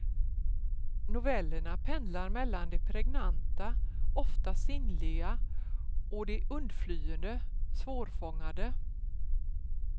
Novellerna pendlar mellan det pregnanta, ofta sinnliga och det undflyende, svårfångade.